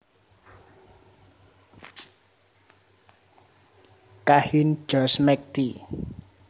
Kahin George McT